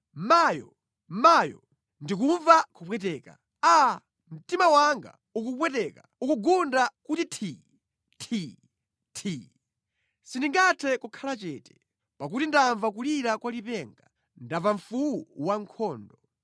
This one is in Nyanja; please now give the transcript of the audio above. Mayo, mayo, ndikumva kupweteka! Aa, mtima wanga ukupweteka, ukugunda kuti thi, thi, thi. Sindingathe kukhala chete. Pakuti ndamva kulira kwa lipenga; ndamva mfuwu wankhondo.